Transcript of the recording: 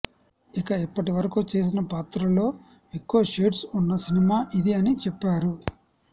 ఇక ఇప్పటివరకూ చేసిన పాత్రల్లో ఎక్కువ షేడ్స్ ఉన్న సినిమా ఇది అని చెప్పారు